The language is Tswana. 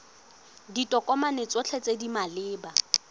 ditokomane tsotlhe tse di maleba